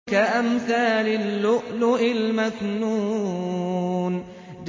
كَأَمْثَالِ اللُّؤْلُؤِ الْمَكْنُونِ